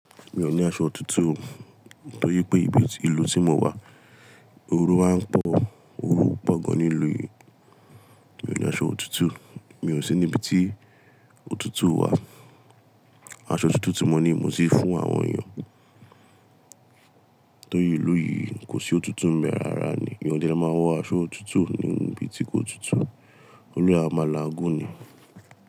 Mi ò ní aṣọ otutu, torí pé ibi ti ìlú tí mo wà, oru á ń pọ̀, oru pọ̀ gan ní ìlú yìí. Mi ò ní aṣọ otutu, mi ò sí níbi tí òtútù wà. Aṣọ otutu tí mo ní mo ti fún àwọn èèyàn. Torí ìlú yìí kò sí òtútù b bẹ́ raara ni, èèyàn ọde le máa wọ aṣọ otutu ní ibi tí kò tutù. Òluwa ẹ a máa la gúni.